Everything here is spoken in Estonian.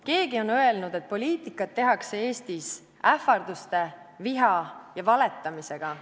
Keegi on öelnud, et poliitikat tehakse Eestis ähvarduste, viha ja valetamisega.